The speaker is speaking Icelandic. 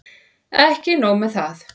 Ekki sé nóg með það.